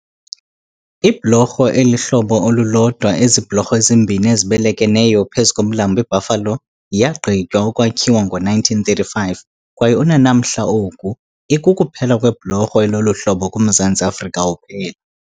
Ibhlorho elihlobo olulodwa ezibhlorho ezimbini ezibelekeneyo phezu komlambo iBuffalo yaaqgitywa ukwakhiwa ngo-1935 kwaye unanamhla oku, ikukuphela kwebhlorho elolu hlobo kuMzantsi afrika uphela.